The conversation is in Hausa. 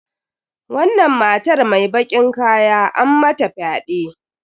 Wannan matar mai bakin kaya an mata fyaɗe.